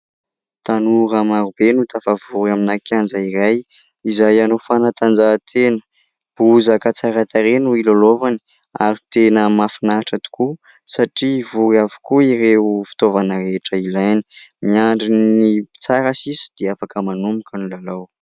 Tanora marobe no tafavory amina kianja iray izay anao fanatanjahantena. Bozaka tsara tarehy no hilalaovany ary tena mahafinaritra tokoa satria vory avokoa ireo fitaovana rehetra ilaina. Miandry ny mpitsara sisa dia afaka manomboka ny lalao.